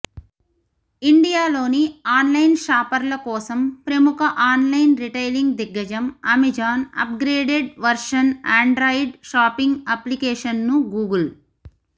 ఇండియాలోని ఆన్లైన్ షాపర్ల కోసం ప్రముఖ ఆన్లైన్ రిటైలింగ్ దిగ్గజం Amazon upgraded version Android shopping అప్లికేషన్ను గూగుల్